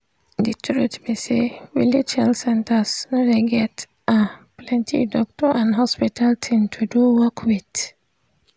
de truth be say village health centers no dey get ah plenti doctor and hospital thing to do work with.